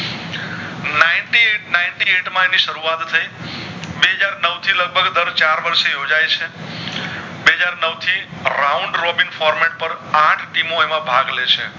માં એની શરૂઆત થઈ બે હાજર નવ થી લગભંગ દર ચાર વર્ષ યોજાય છે બે હાજર નવ થી Round robin format આઠ team મોં એમાં ભાગ લે છે